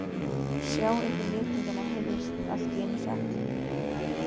Sjá ykkur letingjana heyrðist allt í einu sagt.